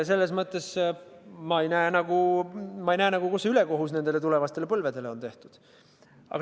Selles mõttes ma ei mõista, kuidas on tulevastele põlvedele ülekohut tehtud.